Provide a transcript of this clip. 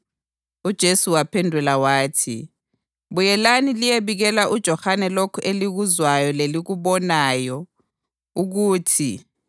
UJesu waphendula wathi, “Buyelani liyebikela uJohane lokhu elikuzwayo lelikubonayo ukuthi